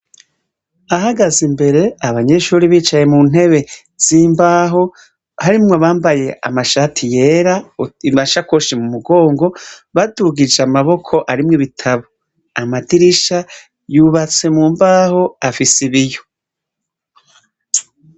Ahagaze imbere abanyeshure bicaye muntebe zimbaha harimwo abambaye amashati yera, amashakoshi mu mugongo badugije amaboko arimwo ibitabu, amadirisha yubatse mumbaho afise ibiyo.